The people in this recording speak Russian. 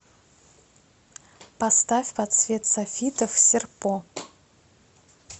поставь под свет софитов серпо